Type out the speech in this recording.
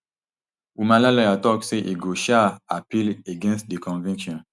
humala lawyer tok say e go um appeal against di conviction